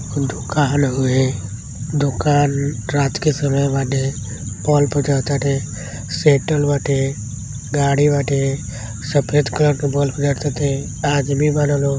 दुकान हवे दुकान रात के समय बाटे सेटल बाटे गाड़ी बाटे सफ़ेद कलर की बल्ब आदमी बा लोग।